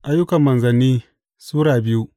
Ayyukan Manzanni Sura biyu